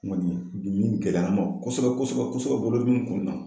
N kɔni ye gɛlɛya an ma kosɛbɛ kosɛbɛ bolo dimi in kɔnɔna na